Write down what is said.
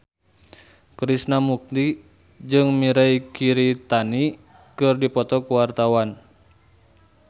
Krishna Mukti jeung Mirei Kiritani keur dipoto ku wartawan